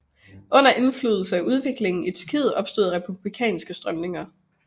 Under indflydelse af udviklingen i Tyrkiet opstod republikanske strømninger